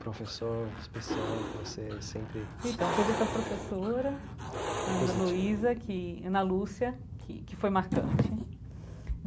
professor especial que você sempre... Então teve essa professora, Ana Luisa, que Ana Lúcia, que que foi marcante.